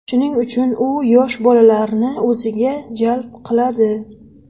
Shuning uchun u yosh bolalarni o‘ziga jalb qiladi.